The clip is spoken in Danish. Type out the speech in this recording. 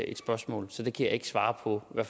et spørgsmål så det kan jeg ikke svare på